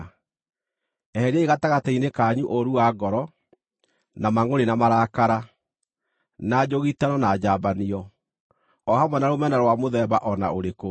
Eheriai gatagatĩ-inĩ kanyu ũũru wa ngoro, na mangʼũrĩ na marakara, na njũgitano na njambanio, o hamwe na rũmena rwa mũthemba o na ũrĩkũ.